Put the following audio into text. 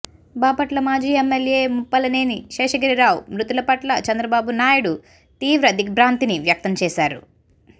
బాపట్ల మాజీ ఎమ్మెల్యే ముప్పలనేని శేషగిరిరావు మృతిపట్ల చంద్రబాబునాయుడు తీవ్ర దిగ్భ్రాంతిని వ్యక్తం చేశారు